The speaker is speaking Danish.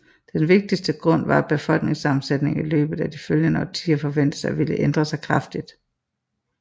Den vigtigste grund var at befolkningssammensætningen i løbet af de følgende årtier forventedes at ville ændre sig kraftigt